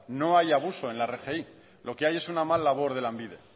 no hay abuso en la rgi lo que hay es una mal labor de lanbide